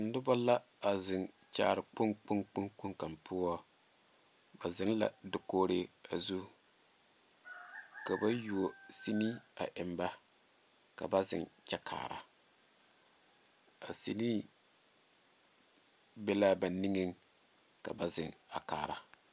Noba la a zeŋ kyaare kpoŋ kpoŋ kpoŋ kaŋa poɔ ba zeŋ la dakogree zu ka yuo sene a eŋ ba ka ba zeŋ kyɛ kaara a send be la ba niŋee ka ba zeŋ a kaara